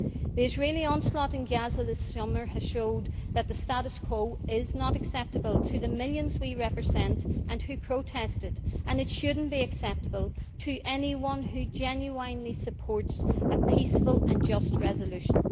The Israeli onslaught in Gaza this summer has shown that the status quo is not acceptable to the millions we represent who protested, and it should not be acceptable to anyone who genuinely supports a peaceful and just resolution.